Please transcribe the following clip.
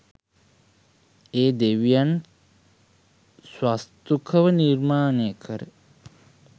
ඒ දෙවියන් ස්වස්තුක ව නිර්මාණය කර